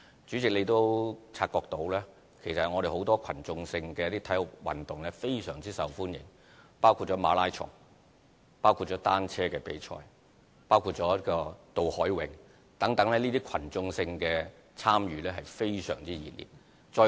主席，你也察覺到其實很多群眾性的體育運動均非常受歡迎，包括馬拉松、單車比賽、渡海泳等，這些群眾性的參與均非常熱烈。